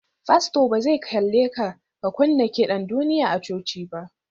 Fasto ba zai ƙyale ka ka kunna kiɗan duniya a coci ba.